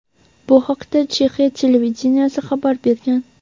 Bu haqda Chexiya televideniyesi xabar bergan.